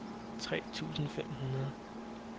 tre tusind fem hundrede